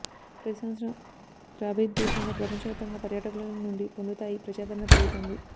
ప్రతి సంవత్సరం క్రాబి ద్వీపంలో ప్రపంచవ్యాప్తంగా పర్యాటకులను నుండి పొందుతాయి ప్రజాదరణ పెరుగుతోంది